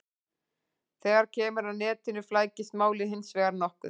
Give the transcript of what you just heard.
Þegar kemur að netinu flækist málið hins vegar nokkuð.